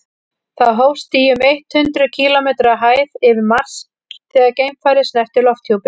það hófst í um eitt hundruð þrjátíu kílómetri hæð yfir mars þegar geimfarið snerti lofthjúpinn